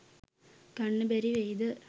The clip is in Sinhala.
ගන්න බැරි වෙයිද